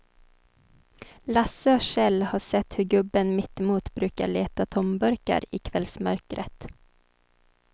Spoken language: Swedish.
Lasse och Kjell har sett hur gubben mittemot brukar leta tomburkar i kvällsmörkret.